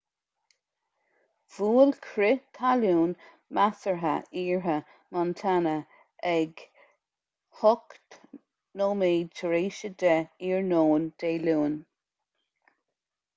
bhuail crith talún measartha iarthar montana ag 10:08 i.n. dé luain